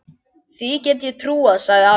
Því get ég trúað, sagði afi.